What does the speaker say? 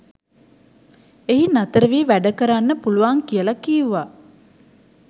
එහි නතරවී වැඩ කරන්න පුළුවන් කියලා කීවා.